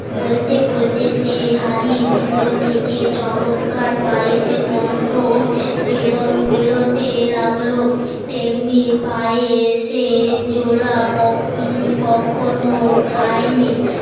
বলতে বলতে সে হাড়ির ভেতর থেকে চমৎকার পায়েসের গন্ধ বেরতে লাগলো তেমনি পায়েসের জোলা কখনো খায়নি